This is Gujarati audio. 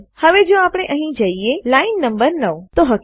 હવે જો આપણે અહીં જઈએ છીએ લાઈન નંબર રેખા ક્રમાંક 9